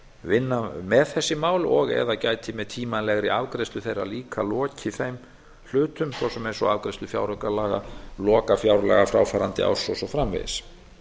vinna með þessi mál og eða gæti með tímanlegri afgreiðslu þeirra líka lokið þeim hlutum svo sem eins og afgreiðslu fjáraukalaga lokafjárlaga fráfarandi árs og svo framvegis